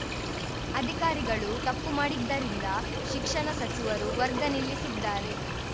ಅಧಿಕಾರಿಗಳು ತಪ್ಪು ಮಾಡಿದ್ದರಿಂದ ಶಿಕ್ಷಣ ಸಚಿವರು ವರ್ಗ ನಿಲ್ಲಿಸಿದ್ದಾರೆ